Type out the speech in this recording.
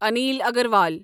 Anil Agarwal